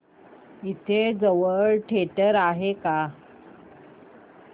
इथे जवळ थिएटर आहे का